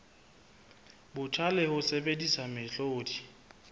botjha le ho sebedisa mehlodi